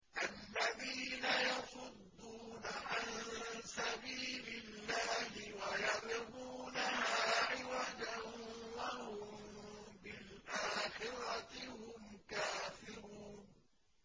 الَّذِينَ يَصُدُّونَ عَن سَبِيلِ اللَّهِ وَيَبْغُونَهَا عِوَجًا وَهُم بِالْآخِرَةِ هُمْ كَافِرُونَ